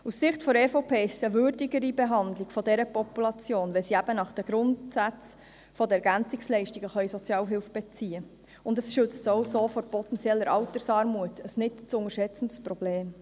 Aus Sicht der EVP-Fraktion ist es eine würdigere Behandlung dieser Population, wenn sie eben nach den Grundsätzen der EL Sozialhilfe beziehen können, und das schützt sie auch vor potenzieller Altersarmut, einem nicht zu unterschätzenden Problem.